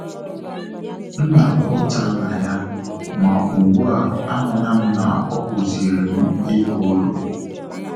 M na-akwa ụta na ya, ma ugbu a, ahụla m na ọ kụziiri m ịba iru